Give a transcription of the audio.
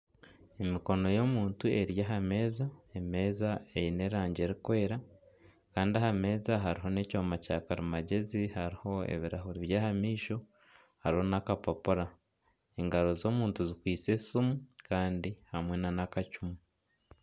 Emikono y'omuntu eri aha meeza, emeeza eine erangi erikwera kandi aha meeza hariho n'ekyoma kya karimagyezi hariho ebirahuri by'aha maisho hariho n'akapapura engaro z'omuntu zikwaitse esimu kandi hamwe nana akacumu.